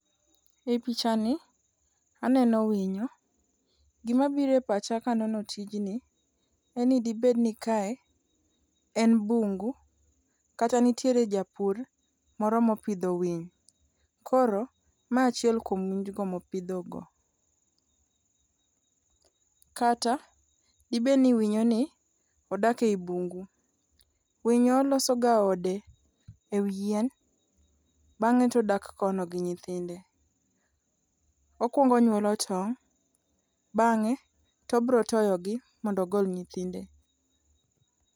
E picha ni aneno winyo. Gimabiro e pacha kanono tijni en ni dibedni kae en bungu kata nitiere japur moro mopidho winy koro ma achiel kuom winjgo mopidhogo. Kata dibedni winyoni odak e i bungu. Winyo loso ga ode e wi yien bang'e todak kono gi nyithinde. Okuongo onyuolo tong' bang'e tobrotoyogi mondo ogol nyithinde.